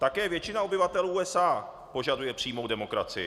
Také většina obyvatel USA požaduje přímou demokracii.